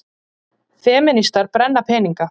Femínistar brenna peninga